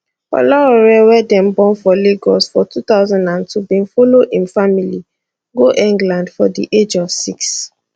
olaore wey dem born for lagos for 2002 bin follow im family go england for di age of six